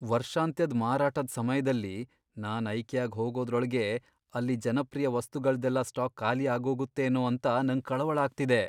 ವರ್ಷಾಂತ್ಯದ್ ಮಾರಾಟದ್ ಸಮಯ್ದಲ್ಲಿ ನಾನ್ ಐಕಿಯಾಗ್ ಹೋಗೋದ್ರೊಳಗೇ ಅಲ್ಲಿ ಜನಪ್ರಿಯ ವಸ್ತುಗಳ್ದೆಲ್ಲ ಸ್ಟಾಕ್ ಖಾಲಿ ಆಗೋಗತ್ತೇನೋ ಅಂತ ನಂಗ್ ಕಳವಳ ಆಗ್ತಿದೆ.